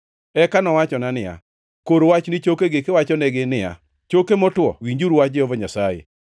Eka nowachona niya, “Kor wach ni chokegi kiwachonegi niya, Choke motwo, winjuru wach Jehova Nyasaye!